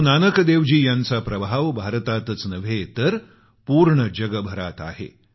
गुरूनानक देवजी यांचा प्रभाव भारतातच नव्हे तर पूर्ण जगभरात आहे